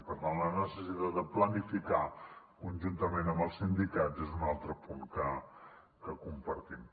per tant la necessitat de planificar conjuntament amb els sindicats és un altre punt que compartim